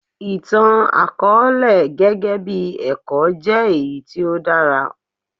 Ìtàn àkọọ́lẹ̀ gẹ́gẹ́ bí ẹ̀kọ́ jẹ́ èyí tí ó dára.